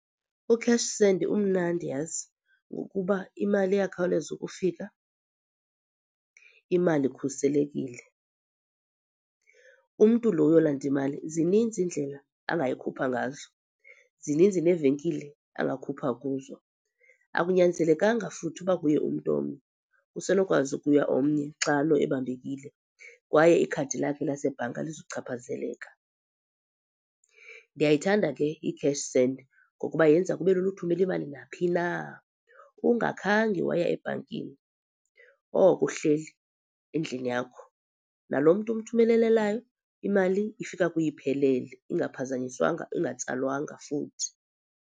uCash Send umnandi yhazi ngokuba imali iyakhawuleza ukufika, imali ikhuselekile. Umntu lo uyolanda imali zininzi iindlela angayikhupha ngazo, zininzi neevenkile angakhupha kuzo. Akunyanzelekanga futhi ukuba kuye umntu, omnye kusenokwazi ukuya omnye xa lo ebambekile kwaye ikhadi lakhe lasebhanka alizuchaphazeleka. Ndiyayithanda ke iCash Send ngokuba yenza kube lula uthumela imali naphi na ungakhange waya ebhankini, oko uhleli endlini yakho. Nalo mntu umthumelelelayo imali ifika kuye iphelele ingaphazanyiswanga, ingatsalwanga futhi.